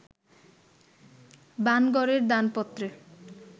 বাণগড়ের দানপত্রে